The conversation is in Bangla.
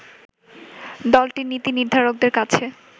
দলটির নীতি নির্ধারকদের কাছে